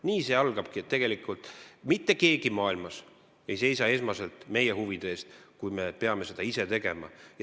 Nii see algabki, et mitte keegi maailmas ei seisa esmaselt meie huvide eest, me peame seda ise tegema.